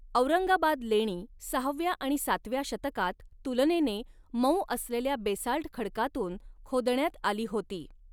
औरंगाबाद लेणी सहाव्या आणि सातव्या शतकात तुलनेने मऊ असलेल्या बेसाल्ट खडकातून खोदण्यात आली होती.